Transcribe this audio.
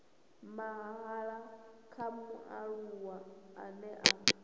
mahala kha mualuwa ane a